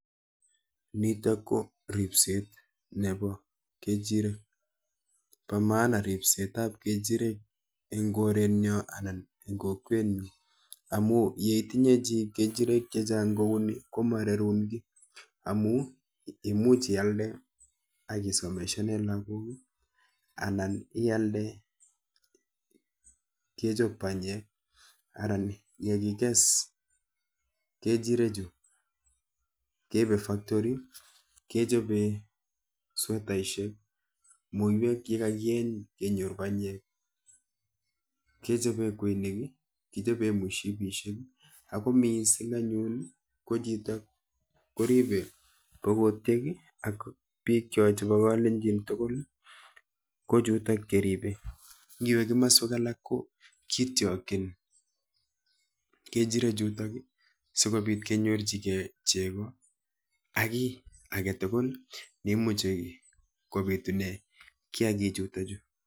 Niton ko ribset nebo ng'echirek, bo mahana ripset ab ng'echirek en korenyon anan kokwenyon, amun yeitinye chi ng'echirek chechang kouni komararun kii, amun imuch ialde ak isomesanen lagokuk anan ialde kechob banyek anan yekikis ng'echirek chu keibe factory kechoben swetaisiek muywek yekakieny kenyor bany'ek, kechoben kweinik ,kechoben mosibisiek ako missing anyun ko chito koribe bokotyek ak bikyok chebo kalenjin tugul kochutok cheribe, iwe komoswek alak ko kityokin ng'echiret chuton sikobit kenyorchigen chego ak ki aletugul neimuche kobitunen giakik chuton chu.